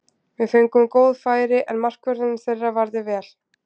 Við fengum góð færi, en markvörðurinn þeirra varði vel.